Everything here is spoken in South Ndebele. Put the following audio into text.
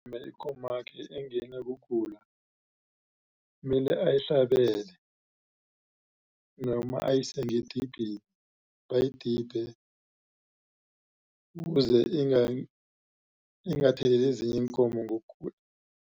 Ikomakhe nayingenwa kugula mele ayihlabele noma ayise ngedibhini bayidibhe kuze ingatheleli ezinye iinkomo ngokugula.